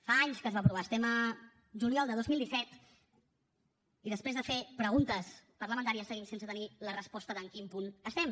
fa anys que es va aprovar estem a juliol del dos mil disset i després de fer preguntes parlamentàries seguim sense tenir la resposta de en quin punt estem